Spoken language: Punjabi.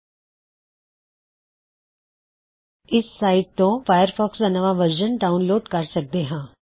ਇਸ ਸਾਇਟ ਤੋ ਅਸੀਂ ਹਮੇਸ਼ਾ ਫਾਇਰਫੌਕਸ ਦਾ ਨਵਾਂ ਵਰਜ਼ਨ ਡਾਉਨਲੋਡ ਕਰ ਸਕਦੇ ਹਾਂ